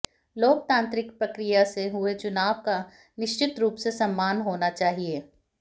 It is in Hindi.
लोकतांत्रिक प्रक्रिया से हुए चुनाव का निश्चित रूप से सम्मान होना चाहिए